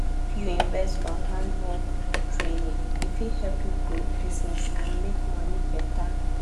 if you invest for handwork training e fit help you grow business and make money better